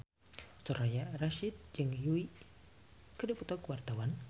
Soraya Rasyid jeung Yui keur dipoto ku wartawan